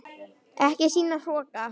Ekki sýna hroka!